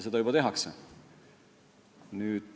Seda juba tehakse.